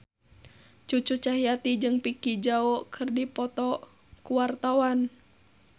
Cucu Cahyati jeung Vicki Zao keur dipoto ku wartawan